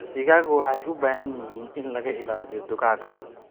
Digaagga waxa ay u baahan yihiin in laga ilaaliyo dugaagga.